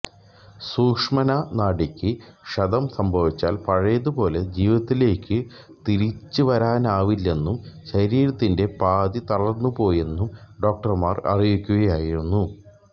സുഷുമ്നാ നാഡിക്ക് ക്ഷതം സംഭവിച്ചാൽ പഴയതു പോലെ ജീവിതത്തിലേയ്ക്കു തിരിച്ചുവരാനാവില്ലെന്നും ശരീരത്തിന്റെ പാതി തളർന്നുപോയെന്നും ഡോക്ടർമാർ അറിയിക്കുകയായിരുന്നു